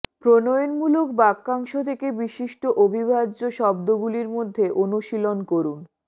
প্রণয়নমূলক বাক্যাংশ থেকে বিশিষ্ট অবিভাজ্য শব্দগুলির মধ্যে অনুশীলন করুন